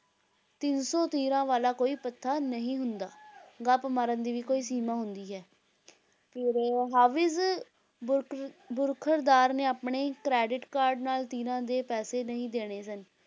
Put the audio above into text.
ਤਿੰਨ ਸੌ ਤੀਰਾਂ ਵਾਲਾ ਕੋਈ ਭੱਥਾ ਨਹੀਂ ਹੁੰਦਾ ਗੱਪ ਮਾਰਨ ਦੀ ਵੀ ਕੋਈ ਸੀਮਾ ਹੁੰਦੀ ਹੈ ਫਿਰ ਹਾਫ਼ਿਜ਼ ਬੁਰਖ਼ੁਰ ਬਰਖ਼ੁਰਦਾਰ ਨੇ ਆਪਣੇ ਹੀ credit card ਨਾਲ ਤੀਰਾਂ ਦੇ ਪੈਸੇ ਨਹੀਂ ਦੇਣੇ ਸਨ,